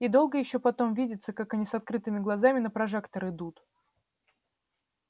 и долго ещё потом видится как они с открытыми глазами на прожектор идут